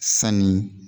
Sanni